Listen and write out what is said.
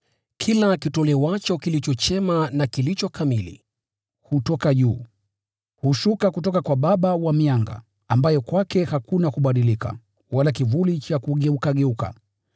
Kila kitolewacho kilicho chema na kilicho kamili, hutoka juu, na hushuka kutoka kwa Baba wa mianga, ambaye kwake hakuna kubadilika, wala kivuli cha kugeukageuka.